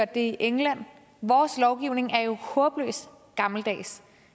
det i england vores lovgivning er jo håbløst gammeldags